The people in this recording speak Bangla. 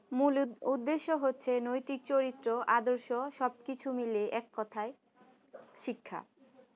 মূল উদ্দেশ্য হচ্ছে নৈতিক চরিত্র আদর্শ সবকিছু মিলিয়ে এক কথায় শিক্ষা